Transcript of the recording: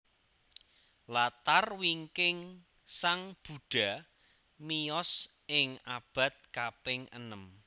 Latar wingkingSang Buddha miyos ing abad kaping enem